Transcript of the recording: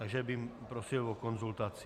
Takže bych prosil o konzultaci.